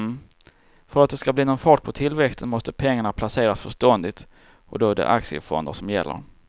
För att det ska bli någon fart på tillväxten måste pengarna placeras förståndigt och då är det aktiefonder som gäller.